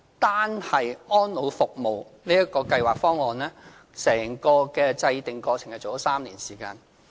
單是《安老服務計劃方案》，整個制訂過程已花了3年時間。